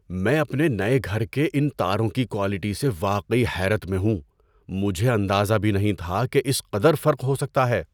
میں اپنے نئے گھر کے ان تاروں کی کوالٹی سے واقعی حیرت میں ہوں۔ مجھے اندازہ بھی نہیں تھا کہ اس قدر فرق ہو سکتا ہے!